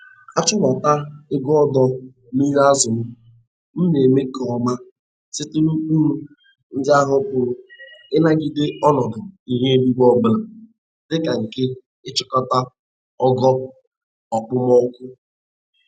Achụmta ego ọdọ mmiri azụ m m na-eme nke ọma site n'ụkpụrụ ndị ahụ pụrụ ịnagide ọnọdụ ihu eluigwe ọbụla dịka nke nchịkọta ogo okpomọkụ.